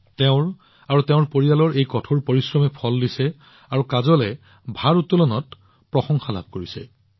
তেওঁ আৰু তেওঁ পৰিয়ালৰ এই কঠোৰ পৰিশ্ৰমে ৰং দেখুৱাইছে আৰু কাজলে ভাৰাত্তোলনত যথেষ্ট বাহবাহ পাইছে